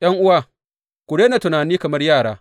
’Yan’uwa, ku daina tunani kamar yara.